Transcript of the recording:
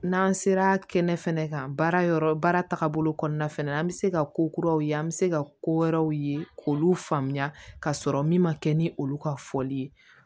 N'an sera kɛnɛ fana kan baara yɔrɔ baara tagabolo kɔnɔna fana an bɛ se ka ko kuraw ye an bɛ se ka ko wɛrɛw ye k'olu faamuya ka sɔrɔ min ma kɛ ni olu ka fɔli ye